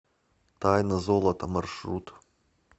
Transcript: тайна золота маршрут